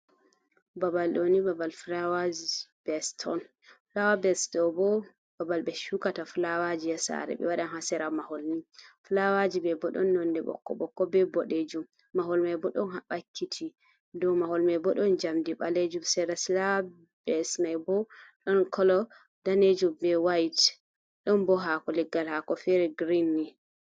Babal ɗo ni babal flawa vast on. Flawa vast ɗo bo, babal ɓe shukata flawaji ha sare ɓe waɗan ha sera mahol ni. Flawaji mai bo ɗon nonde ɓokko ɓokko be boɗejum mahol mai bo don ha bakkiti dow mahol mai bo ɗon jamdi ɓalejum Sara flawa vast mai bo ɗon kolo danejum be wayit ɗon bo hako leggal hako feri grin ni.